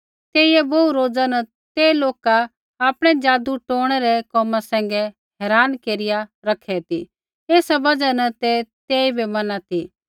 तेइयै बोहू रोज़ा न ते लोका आपणै जादू टोणै रै कोमा सैंघै हैरान केरिआ रखै ती एसा बजहा न ते तेइबै मैना ती